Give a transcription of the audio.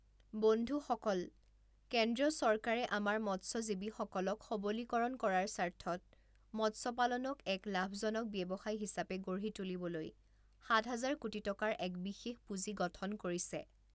বন্ধুসকল, কেন্দ্ৰীয় চৰকাৰে আমাৰ মৎস্যজীৱিসকলক সবলীকৰণ কৰাৰ স্বাৰ্থত মৎস্যপালনক এক লাভজনক ব্যৱসায় হিচাপে গঢ়ি তুলিবলৈ সাত হাজাৰ কোটি টকাৰ এক বিশেষ পূঁজি গঠন কৰিছে।